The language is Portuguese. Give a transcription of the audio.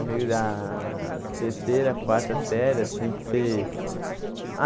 Amigos da terceira, quarta série assim que você.